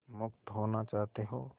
मुक्त होना चाहते हो